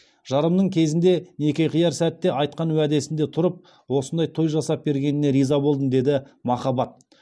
жарымның кезінде неке қияр сәтте айтқан уәдесінде тұрып осындай той жасап бергеніне риза болдым деді махаббат